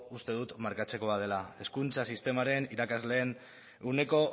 uste dut markatzekoa dela hezkuntza sisteman irakasleen ehuneko